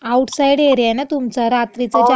Outside area ये न तुमचा, रात्रीचं जे असं. हो आमचा आउ